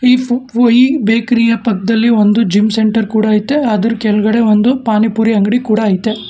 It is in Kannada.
ಈ ಪುಫು ಈ ಬೇಕರಿ ಯ ಪಕ್ಕದಲ್ಲಿ ಒಂದು ಜಿಮ್ ಸೆಂಟರ್ ಕೂಡ ಐತೆ ಅದ್ರು ಕೆಳಗಡೆ ಒಂದು ಪಾನಿಪುರಿ ಅಂಗಡಿ ಕೂಡ ಐತೆ.